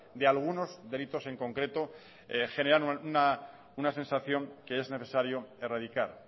de algunos delitos en concreto generan una sensación que es necesario erradicar